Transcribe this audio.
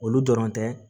Olu dɔrɔn tɛ